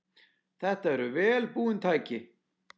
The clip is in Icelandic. Þetta eru vel búin tæki.